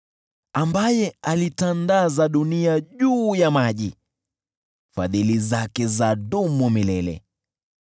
Ambaye aliitandaza dunia juu ya maji, Fadhili zake zadumu milele .